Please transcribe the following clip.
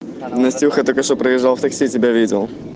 настюха только что проезжал в такси тебя видел